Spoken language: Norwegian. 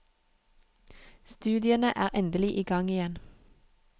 Studiene er endelig i gang igjen.